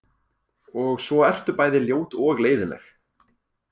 Og svo ertu bæði ljót og leiðinleg.